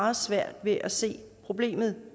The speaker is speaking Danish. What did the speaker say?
meget svært ved at se problemet